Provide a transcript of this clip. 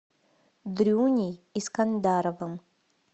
дрюней искандаровым